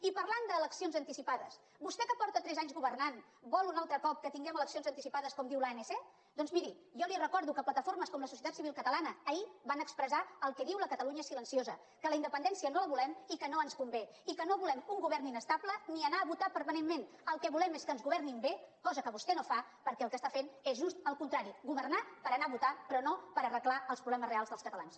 i parlant d’eleccions anticipades vostè que porta tres anys governant vol un altre cop que tinguem eleccions anticipades com diu l’anc doncs miri jo li recordo que plataformes com la societat civil catalana ahir van expressar el que diu la catalunya silenciosa que la independència no la volem i que no ens convé i que no volem un govern inestable ni anar a votar permanentment el que volem és que ens governin bé cosa que vostè no fa perquè el que està fent és just el contrari governar per anar a votar però no per arreglar els problemes reals dels catalans